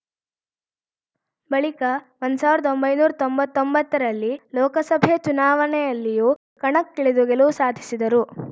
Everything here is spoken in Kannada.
ಬಳಿಕ ಒಂದ್ ಸಾವಿರ್ದ ತೊಂಬತ್ತೊಂಬತ್ತರಲ್ಲಿ ಲೋಕಸಭೆ ಚುನಾವಣೆಯಲ್ಲಿಯೂ ಕಣಕ್ಕಿಳಿದು ಗೆಲುವು ಸಾಧಿಸಿದರು